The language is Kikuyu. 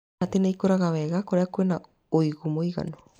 Karati nĩ ĩkũraga wega kũrĩa kwĩna ũigũ mũiganu.